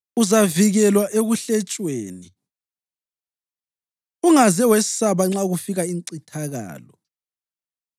Uzavikelwa ekuhletshweni, ungaze wesaba nxa kufika incithakalo.